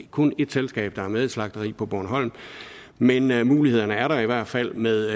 kun et selskab der er med i et slagteri på bornholm men men mulighederne er der i hvert fald med